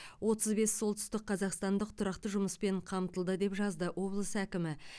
отыз бес солтүстік қазақстандық тұрақты жұмыспен қамтылды деп жазды облыс әкімі